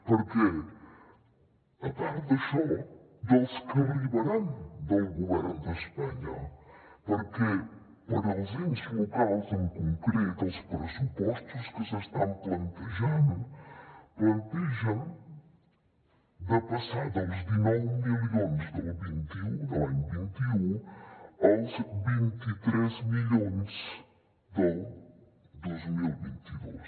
per què a part d’això dels que arribaran del govern d’espanya perquè per als ens locals en concret els pressupostos que s’estan plantejant plantegen passar dels dinou milions del vint un de l’any vint un als vint tres milions del dos mil vint dos